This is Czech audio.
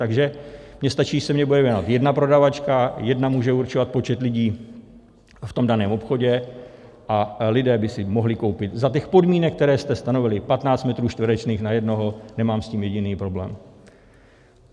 Takže mně stačí, když se mně bude věnovat jedna prodavačka, jedna může určovat počet lidí v tom daném obchodě a lidé by si mohli koupit, za těch podmínek, které jste stanovili, 15 metrů čtverečních na jednoho, nemám s tím jediný problém.